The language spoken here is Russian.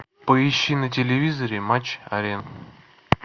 поищи на телевизоре матч арена